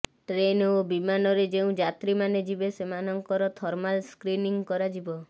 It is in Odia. ଟ୍ରେନ ଓ ବିମାନରେ ଯେଉଁ ଯାତ୍ରୀମାନେ ଯିବେ ସେମାନଙ୍କର ଥର୍ମାଲ ସ୍କ୍ରିନିଂ କରାଯିବ